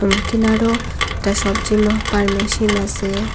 উকিনারো একটা সবজি মাপবার মেশিন আসে ।